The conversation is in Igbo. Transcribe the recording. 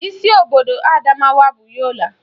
Isi obodo Adamawa bụ Yola